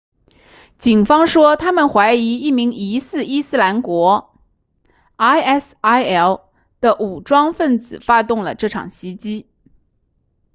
警方说他们怀疑一名疑似伊斯兰国 isil 的武装分子发动了这场袭击